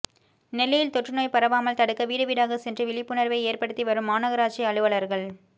நெல்லையில் தொற்றுநோய் பரவாமல் தடுக்க வீடு வீடாகச் சென்று விழிப்புணர்வை ஏற்படுத்தி வரும் மாநகராட்சி அலுவலர்கள்